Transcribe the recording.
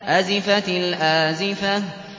أَزِفَتِ الْآزِفَةُ